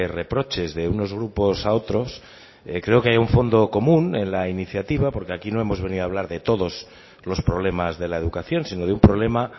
reproches de unos grupos a otros creo que hay un fondo común en la iniciativa porque aquí no hemos venido a hablar de todos los problemas de la educación sino de un problema